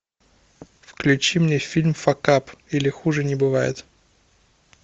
включи мне фильм факап или хуже не бывает